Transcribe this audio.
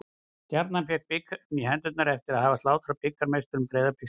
Stjarnan fékk bikarinn í hendurnar eftir að hafa slátrað bikarmeisturum Breiðabliks í dag.